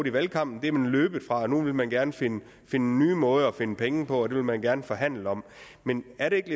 i valgkampen er man løbet fra og nu vil man gerne finde nye måder at finde penge på og det vil man gerne forhandle om men er det ikke